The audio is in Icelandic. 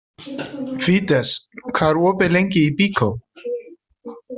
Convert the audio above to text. Fídes, hvað er opið lengi í Byko?